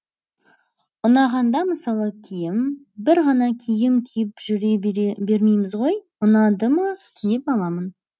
ұнағанда мысалы киім бір ғана киім киіп жүре бермейміз ғой ұнады ма киіп аламын